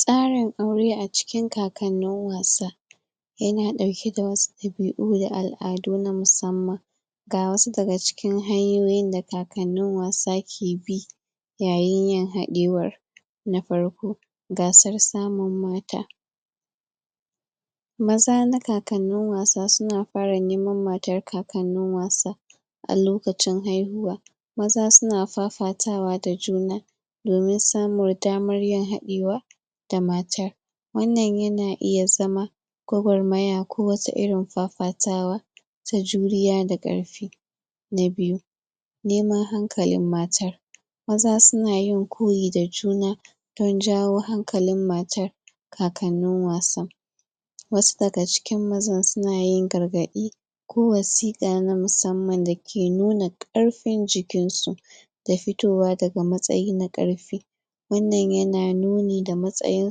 tsarin aure a cikin kakannin wasa yana ɗauke da wasu ɗabi'u da al'adu na musamman ga wasu daga cikin hanyoyin da kakannin wasa ke bi yayin yin haɗewar na farko gasar samun mata maza na kakannin wasa suna fara neman matar kakannin wasa a lokacin haihuwa maza suna fafatawa da juna domin samun damar yin haɗewa da matar. wannan yana iya zama gwagwaraya ko wata irin fafatawa ta juriya da ƙarfi na biyu neman hankalin matar maza sunayin koyi da juna don jawo hankalin matar kakannin wasan. wasu daga cikin mazan sunayin gargaɗi ko wasiƙa na musamman dake nuna ƙarfin jikin su da fitowa daga matsayi na ƙarfi. wannan yana nuni da matsayin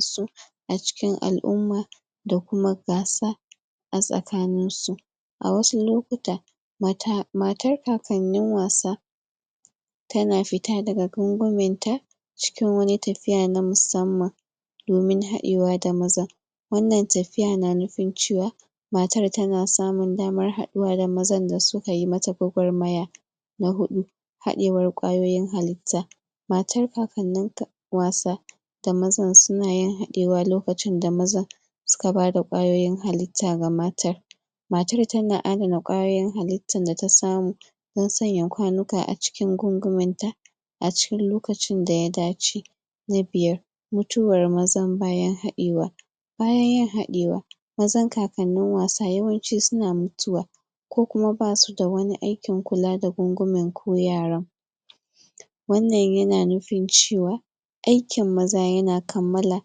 su a cikin al'umma da kuma gasa a tsakanin su. a wasu lokuta mata matar kakannin wasa tana fita daga gungumen ta cikin wani tafiya na musamman domin haɗewa da mazan wannan tafiya na nufin cewa matar tana samun damar haɗuwa da mazan da suka yi mata gwagwarmaya na huɗu haɗewar ƙwayoyin halitta matar kakannin wasa da mazan sunayin haɗewa lokacin da mazan suka bada ƙwayoyin halitta ga matar matar tana adana ƙwayoyin halittar data samu don sanya kwanuka a cikin gungumen ta a cikin lokacin da ya dace na biyar mutuwar mazan bayan haɗewa bayan yin haɗewa mazan kakannin wasa yawanci suna mutuwa ko kuma basu da wani akin kula da gungumen ko yaran wannan yana nufin cewa aikin maza yana kammala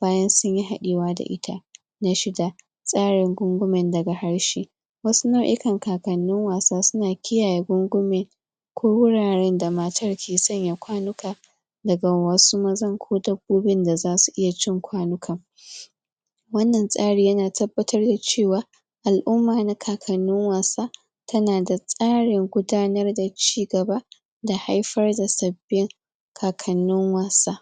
bayan sunyi haɗewa da ita na shida tsarin gungumen daga harshe wasu nau'ikan kakannin wasa suna kiyaye gungume ko wuraren da matar ke sanya kwanuka daga wasu mazan ko dabbobin da zasu iya cin kwanukan wannan tsari yana tabbatar da cewa al'umma na kakannin wasa tana da tsarin gudanar da ci gaba da haifar da sabbin kakannin wasa.